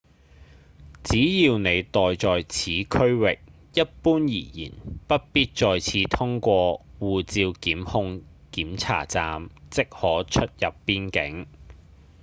只要您待在此區域一般而言不必再次通過護照控制檢查站即可出入邊境